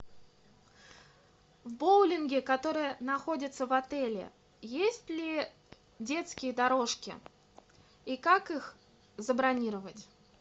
в боулинге который находится в отеле есть ли детские дорожки и как их забронировать